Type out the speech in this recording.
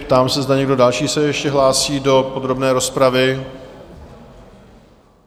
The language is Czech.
Ptám se, zda někdo další se ještě hlásí do podrobné rozpravy?